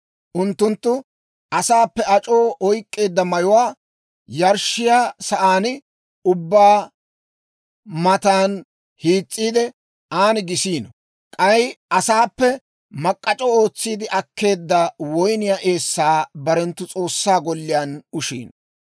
Unttunttu asaappe ac'oo oyk'k'eedda mayuwaa yarshshiyaa sa'aan ubbaa matan hiis's'iide, aan gisiino; k'ay asaappe mak'k'ac'o ootsiide akkeedda woyniyaa eessaa barenttu S'oossaa golliyaan ushiino.